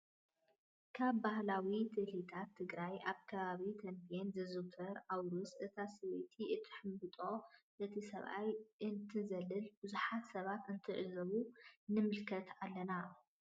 ካብ ባህላዊ ትልሂታት ትግራይ ኣብ ከባቢ ተምቤን ዝዝውተር ኣውርስ እታ ሰበይቲ እንትትሕምብጥ እቲ ሰብኣይ እንትትዘልልን ብዙሓት ሰባት እንትትዕዘቡ ንምልከት ኣለና፡፡